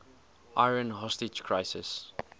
iran hostage crisis